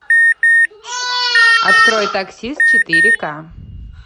открой таксист четыре ка